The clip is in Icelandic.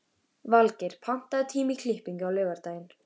Valgeir, pantaðu tíma í klippingu á laugardaginn.